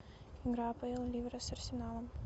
игра апл ливера с арсеналом